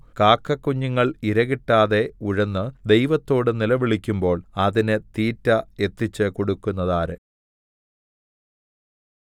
കാക്കക്കുഞ്ഞുങ്ങൾ ഇരകിട്ടാതെ ഉഴന്ന് ദൈവത്തോട് നിലവിളിക്കുമ്പോൾ അതിന് തീറ്റ എത്തിച്ച് കൊടുക്കുന്നതാര്